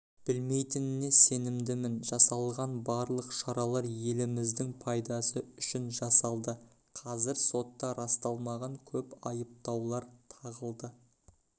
білмейтініне сенімдім жасалған барлық шаралар еліміздің пайдасы үшін жасалды қазір сотта расталмаған көп айыптаулар тағылды